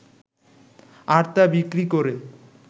আর তা বিক্রি করে